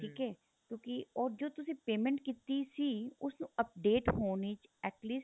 ਠੀਕ ਏ ਕਿਉਂਕਿ ਉਹ ਜੋ ਤੁਸੀਂ payment ਕੀਤੀ ਸੀ ਉਸ ਨੂੰ update ਹੋਣੀ at least